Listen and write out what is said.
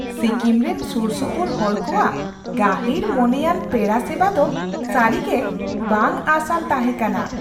ᱥᱤᱠᱤᱢ ᱨᱮᱱ ᱥᱩᱨᱼᱥᱩᱯᱩᱨ ᱦᱚᱲ ᱠᱚᱣᱟᱜ ᱜᱟᱹᱦᱤᱨᱼᱢᱚᱱᱮᱭᱟᱱ ᱯᱮᱲᱟᱼᱥᱮᱵᱟ ᱫᱚ ᱥᱟᱹᱨᱤᱜᱮ ᱵᱟᱝᱼᱟᱸᱥᱼᱟᱱ ᱛᱟᱦᱮᱸ ᱠᱟᱱᱟ ᱾